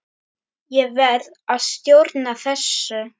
Ég verð að stjórna þessu.